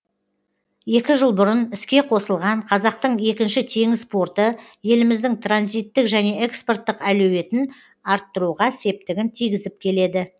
екі жыл бұрын іске қосылған қазақтың екінші теңіз порты еліміздің транзиттік және экспорттық әлеуетін арттыруға септігін тигізіп келеді